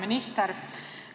Hea minister!